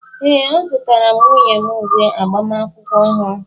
ee, azụtara m nwunye m uwe agbamakwụkwọ ọhụrụ